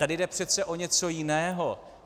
Tady jde přece o něco jiného.